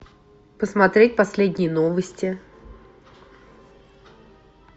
посмотреть последние новости